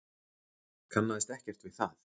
Kannaðist ekkert við það.